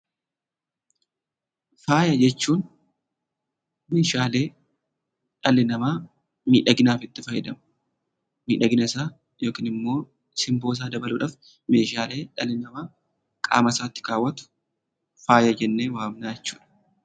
Faaya jechuun meeshaalee dhalli namaa miidhaginaaf itti fayyadamu, miidhaginasaa yookin immoo simboosaa dabaluudhaaf meeshaalee dhalli namaa qaamasaatti kaawwatu faaya jennee waamnaa jechuudha.